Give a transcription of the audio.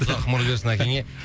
ұзақ ғұмыр берсін әкеңе